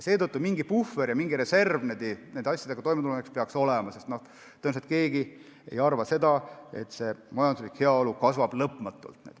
Seetõttu peaks mingi puhver ja reserv nende asjadega toimetulemiseks olema, sest tõenäoliselt ei arva keegi, et majanduslik heaolu kasvab lõpmatult.